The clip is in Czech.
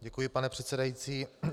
Děkuji, pane předsedající.